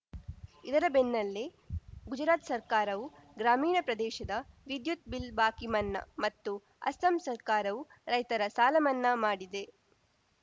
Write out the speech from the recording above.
ಇದರ ಬೆನ್ನಲ್ಲೇ ಗುಜರಾತ್‌ ಸರ್ಕಾರವು ಗ್ರಾಮೀಣ ಪ್ರದೇಶದ ವಿದ್ಯುತ್‌ ಬಿಲ್‌ ಬಾಕಿ ಮನ್ನಾ ಮತ್ತು ಅಸ್ಸಾಂ ಸರ್ಕಾರವು ರೈತರ ಸಾಲಮನ್ನಾ ಮಾಡಿದೆ